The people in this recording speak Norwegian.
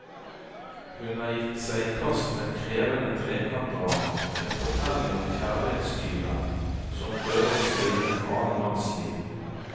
Hun har gitt seg i kast med et krevende trekantdrama, en fortelling om kjærlighetstyven som prøver å stjele en annen manns liv.